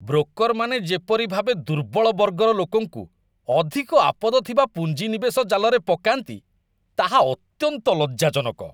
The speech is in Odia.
ବ୍ରୋକର୍‌ମାନେ ଯେପରି ଭାବେ ଦୁର୍ବଳ ବର୍ଗର ଲୋକଙ୍କୁ ଅଧିକ ଆପଦ ଥିବା ପୁଞ୍ଜି ନିବେଶ ଜାଲରେ ପକାନ୍ତି, ତାହା ଅତ୍ୟନ୍ତ ଲଜ୍ଜାଜନକ।